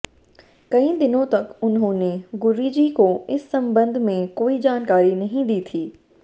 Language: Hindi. कई दिनों तक उन्होंने गुरूजी को इस संबंध में कोई जानकारी नहीं दी थी